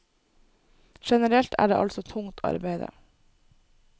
Generelt er det altså tungt arbeide.